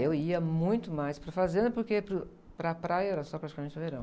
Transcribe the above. É, eu ia muito mais para a fazenda, porque para o, para a praia era só praticamente o verão.